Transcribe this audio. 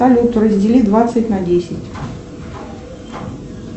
салют раздели двадцать на десять